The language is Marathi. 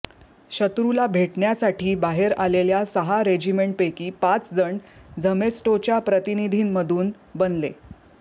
शत्रुला भेटण्यासाठी बाहेर आलेल्या सहा रेजिमेंटपैकी पाच जण झमेस्टोच्या प्रतिनिधींमधून बनले